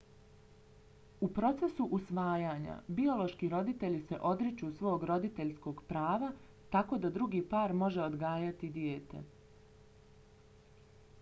u procesu usvajanja biološki roditelji se odriču svog roditeljskog prava tako da drugi par može odgajati dijete